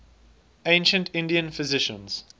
ancient indian physicians